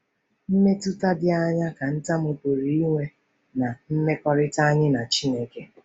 Mmetụta dị aṅaa ka ntamu pụrụ inwe ná mmekọrịta anyị na Chineke?